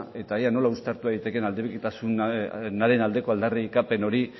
eta ea nola uztartu daitekeen aldebikotasunaren aldeko aldarrikapen hori